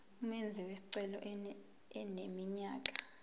umenzi wesicelo eneminyaka